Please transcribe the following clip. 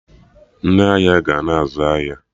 Ndị ahịa ga na-azụ ahịa